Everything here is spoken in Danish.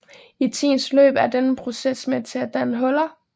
I tidens løb er denne proces med til at danne huler